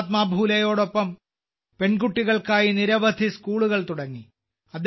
മഹാത്മാ ഫൂലെയോടൊപ്പം പെൺകുട്ടികൾക്കായി നിരവധി സ്കൂളുകൾ തുടങ്ങി